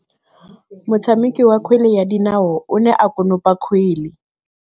Motshameki wa kgwele ya dinaô o ne a konopa kgwele.